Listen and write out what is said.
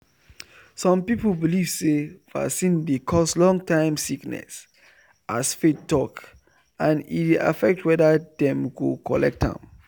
some people believe say vaccine dey cause long-time sickness as faith talk and e dey affect whether dem go collect am.